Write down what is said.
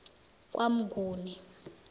kwamnguni